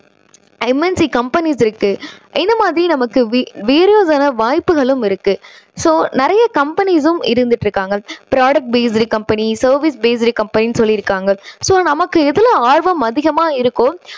MNC companies இருக்கு. இந்த மாதிரி நமக்கு வாய்ப்புகள் இருக்கு. so நிறைய companies சும் இருந்துட்டு இருக்காங்க. product based company service based company சொல்லி இருக்காங்க. so நமக்கு எதுல ஆர்வம் அதிகமா இருக்கோ